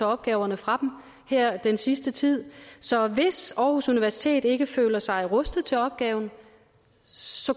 opgaver fra dem her den sidste tid så hvis aarhus universitet ikke føler sig rustet til opgaven